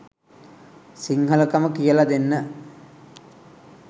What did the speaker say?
සිංහලකම කියලා දෙන්න